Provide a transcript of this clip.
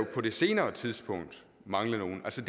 på det senere tidspunkt mangle nogle selv